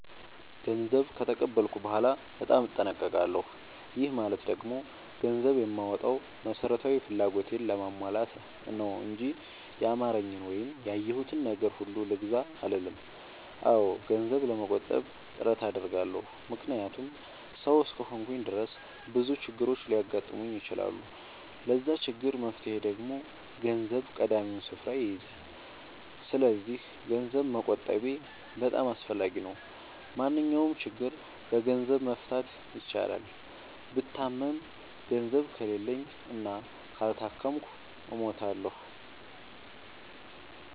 ገንዘብ ከተቀበልኩ በኋላ በጣም እጠነቀቃለሁ። ይህ ማለት ደግሞ ገንዘብ የማወጣው መሠረታዊ ፍላጎቴን ለማሟላት ነው እንጂ ያማረኝን ወይም ያየሁትን ነገር ሁሉ ልግዛ አልልም። አዎ ገንዘብ ለመቆጠብ ጥረት አደርጋለሁ። ምክንያቱም ሠው እስከሆንኩኝ ድረስ ብዙ ችግሮች ሊያጋጥሙኝ ይችላሉ። ለዛ ችግር መፍትሄ ደግሞ ገንዘብ ቀዳሚውን ስፍራ ይይዛል። ሰስለዚክ ገንዘብ መቆጠቤ በጣም አስፈላጊ ነው። ማንኛውንም ችግር በገንዘብ መፍታት ይቻላል። ብታመም ገንዘብ ከሌለኝ እና ካልታከምኩ እሞታሁ።